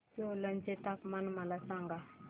सोलन चे तापमान मला सांगा